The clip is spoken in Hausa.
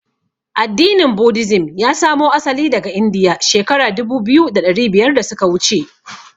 Addinin "Buddhism" ya samo asali daga Indiya shekara dubu biyu da ɗari biyar da suka wuce.